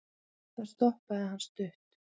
þar stoppaði hann stutt